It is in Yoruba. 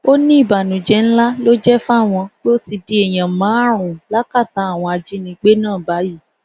ó ní ìbànújẹ ńlá ló jẹ fáwọn pé ó ti di èèyàn márùnún lákàtà àwọn ajínigbé náà báyìí